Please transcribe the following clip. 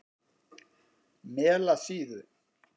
Melasíðu